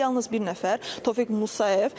Yalnız bir nəfər Tofiq Musayev.